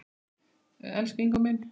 Elsku Ingó minn.